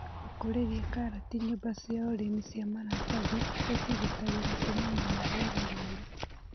Gũkũrĩria karati nyũmba cia ũrĩmi cia maratathi gũcigitagĩra kumana na rĩera rĩũru.